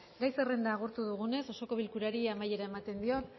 gai zerrenda agortu dugunez osoko bilkurari amaiera ematen diot